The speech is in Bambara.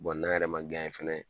n'an yɛrɛ ma fana